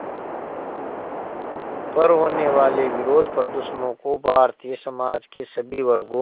पर होने वाले विरोधप्रदर्शनों को भारतीय समाज के सभी वर्गों